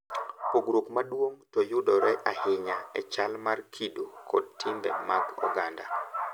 Pogruok maduong` to yudore ahinya e chal mar kido kod timbe mag oganda.